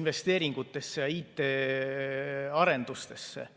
investeeringutesse, IT-arendustesse.